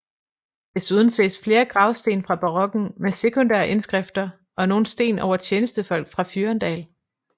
Desuden ses flere gravsten fra barokken med sekundære indskrifter og nogle sten over tjenestefolk fra Fyrendal